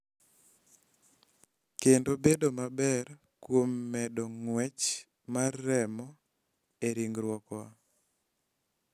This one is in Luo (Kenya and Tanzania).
Kendo bedo maber kuom medo ng�wech mar remo e ringruokwa.